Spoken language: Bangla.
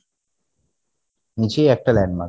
নিজে একটা landmark